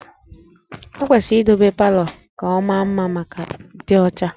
E kwesịrị idobe palọ ka ọ maa mma ma dị ọcha